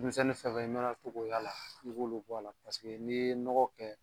Bin misɛnnin fɛn fɛn i mana to k'o y'a la, i b'olu b'a la paseke n'i ye nɔgɔ kɛ